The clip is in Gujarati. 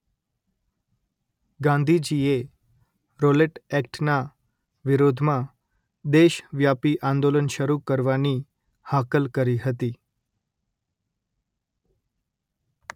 ગાંધીજીએ રોલેટ એક્ટના વિરોધમાં દેશ વ્યાપી આંદોલન શરૂ કરવાની હાકલ કરી હતી